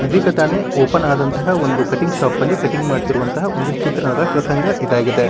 ಇದೀಗ ತಾನೇ ಓಪನ್ ಆದಂತಹ ಒಂದು ಕಟಿಂಗ್ ಶಾಪ್ ಲಿ ಕಟಿಂಗ್ ಮಾಡುತ್ತಿರುವಂತಹ ಒಂದು ಚಿತ್ರಣದ ಪ್ರಸಂಗ ಇದಾಗಿದೆ.